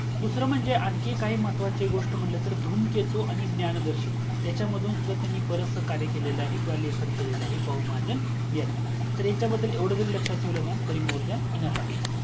दूसरा म्हणजे आणखी काही महत्वाची गोस्ट म्हटलं तर धूमकेतू आणि ज्ञान दर्शन हयच्या मधून सुद्धा त्यांनी बरेचसा कार्य केलेला आहे किव्हा लेखन केलेला आहे बहुमहाजण यांनी तर ह्याच्याबद्दल एवढ जरी लक्ष्यात ठेवल न तरी more than enough आहे